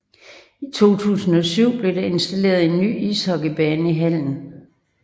I 2007 blev der installeret en ny ishockeybane i hallen